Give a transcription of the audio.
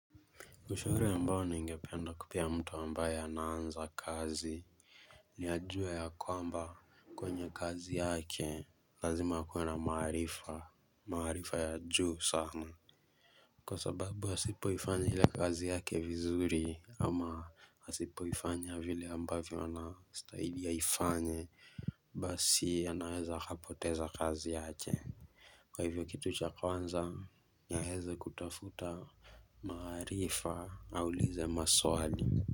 Ushauri ambao ningependa kupea mtu anaanza kazi ni ajue ya kwamba kwenye kazi yake lazima akuwe na maarifa. Maarifa ya juu sana Kwa sababu hasipoifanya ile kazi yake vizuri ama asipoifanya vile ambavyo anastahili aifanye Basi anaweza akapoteza kazi yake Kwa hivyo kitu cha kwanza yaeze kutafuta maarifa aulize maswali.